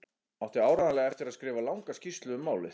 Átti áreiðanlega eftir að skrifa langa skýrslu um málið.